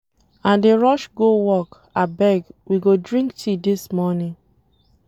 I dey rush go work, abeg, we go drink tea dis morning.